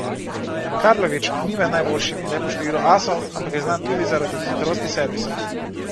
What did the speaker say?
Karlović ni med najboljšimi le po številu asov, ampak je znan tudi zaradi hitrosti servisa.